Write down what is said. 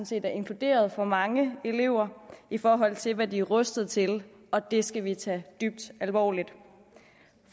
set er inkluderet for mange elever i forhold til hvad de er rustet til og det skal vi tage dybt alvorligt